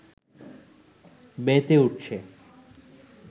মেতে উঠছে